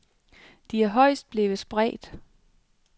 De er højst blevet spredt.